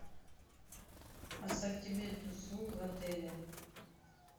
ассортимент услуг в отеле